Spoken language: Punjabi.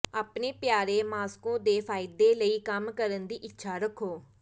ਆਪਣੇ ਪਿਆਰੇ ਮਾਸਕੋ ਦੇ ਫਾਇਦੇ ਲਈ ਕੰਮ ਕਰਨ ਦੀ ਇੱਛਾ ਰੱਖੋ